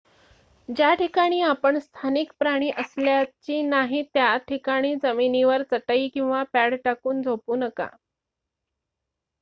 ज्या ठिकाणी आपण स्थानिक प्राणी असल्याची नाही त्या ठिकाणी जमिनीवर चटई किंवा पॅड टाकून झोपू नका